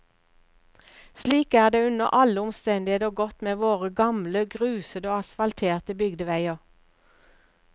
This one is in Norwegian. Slik er det under alle omstendigheter gått med våre gamle grusede og asfalterte bygdeveier.